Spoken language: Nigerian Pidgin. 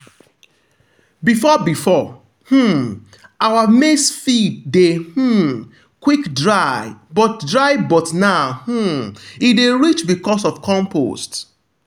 before before um our maize field dey um quick dry but dry but now um e dey rich because of compost.